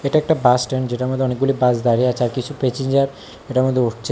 এটা একটা বাসস্ট্যান্ড যেটার মধ্যে অনেকগুলি বাস দাঁড়িয়ে আছে আর কিছু প্যাচেনজার এটার মধ্যে উঠছে।